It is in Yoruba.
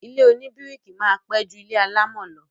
Ilé oníbíríkì máa pẹ́ ju ilé alámọ̀ lọ